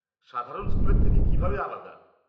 -সাধারণ স্কুলের থেকে কীভাবে আলাদা?